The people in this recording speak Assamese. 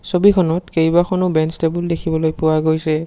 ছবিখনত কেইবাখনো বেঞ্চ টেবুল দেখিবলৈ পোৱা গৈছে।